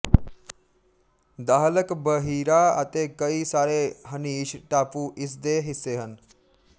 Dahlak ਬਹੀਰਾ ਅਤੇ ਕਈ ਸਾਰੇ ਹਨੀਸ਼ ਟਾਪੂ ਇਸ ਦੇ ਹਿੱਸੇ ਹਨ